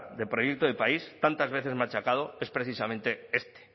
de proyecto del país tantas veces machacado es precisamente este